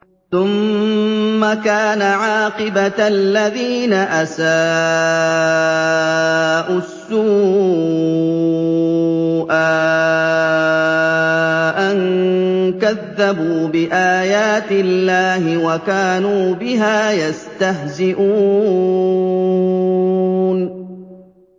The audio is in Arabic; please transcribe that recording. ثُمَّ كَانَ عَاقِبَةَ الَّذِينَ أَسَاءُوا السُّوأَىٰ أَن كَذَّبُوا بِآيَاتِ اللَّهِ وَكَانُوا بِهَا يَسْتَهْزِئُونَ